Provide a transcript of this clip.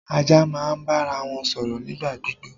Ajá máa ń bára wọn sọ̀rọ̀ nípa gbígbó